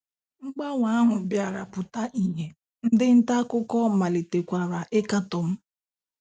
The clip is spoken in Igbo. Mgbanwe ahụ bịara pụta ìhè, ndị nta akụkọ malitekwara ịkatọ m.